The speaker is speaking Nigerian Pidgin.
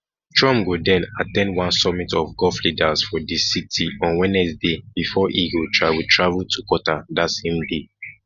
trump go den at ten d one summit of gulf leaders for di city on wednesday bifor e go travel travel to qatar dat same day